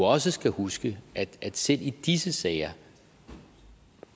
også huske at selv i disse sager